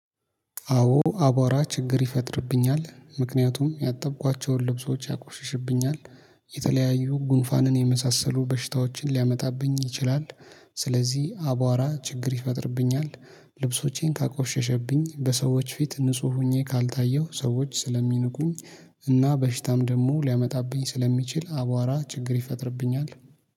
አዎ አቧራ ችግር ይፈጥርብኛል ምክንያቱም ያጠብኳቸውን ልብሶች ያቆሽሽብኛል። የተለያዩ ጉንፋንን የመሳሰሉ በሽታዎችን ሊያመጣብኝ ይችላል። ስለዚህ አቧራ ችግር ይፈጥርብኛል። ልብሶቼን ካቆሸሸብኝ በሰዎች ፊት ንጹህ ሆኜ ካልታየሁ ሰዎች ስለሚንቁኝ። እና በሽታም ደግሞ ሊያመጣብኝ ስለሚችል አቧራ ችግር ይፈጥርብኛል